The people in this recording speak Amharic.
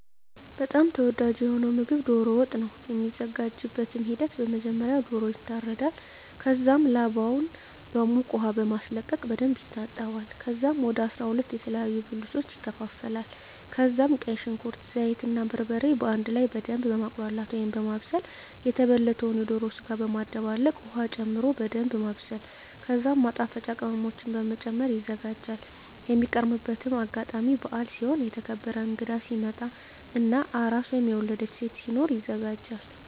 በጣም ተወዳጂ የሆነዉ ምግብ ዶሮ ወጥ ነዉ። የሚዘጋጅበትም ሂደት በመጀመሪያ ዶሮዉ ይታረዳል ከዛም ላባዉን በዉቅ ዉሃ በማስለቀቅ በደንብ ይታጠባል ከዛም ወደ 12 የተለያዩ ብልቶች ይከፋፈላል ከዛም ቀይ ሽንኩርት፣ ዘይት እና በርበሬ በአንድ ላይ በደምብ በማቁላላት(በማብሰል) የተበለተዉን የዶሮ ስጋ በመደባለቅ ዉሀ ጨምሮ በደንምብ ማብሰል ከዛም ማጣፈጫ ቅመሞችን በመጨመር ይዘጋጃል። የሚቀርብበትም አጋጣሚ በአል ሲሆን፣ የተከበረ እንግዳ ሲመጣ እና አራስ (የወለደች ሴት) ሲኖር ይዘጋጃል።